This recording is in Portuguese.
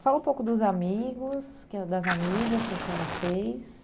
Fala um pouco dos amigos, que a das amigas que a senhora fez.